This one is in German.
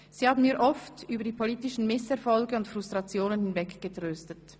Sie haben mich oft über die politischen Misserfolge und Frustrationen hinweggetröstet.